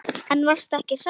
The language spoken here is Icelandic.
En varstu ekki hræddur?